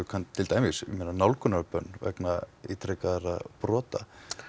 til dæmis nálgunarbönn vegna ítrekaðra brota